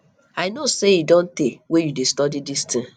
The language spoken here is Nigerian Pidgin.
i know say e don tey wey you dey study dis thing